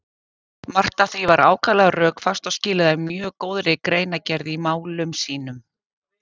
Margt af því var ákaflega rökfast og skilaði mjög góðri greinargerð í málum sínum.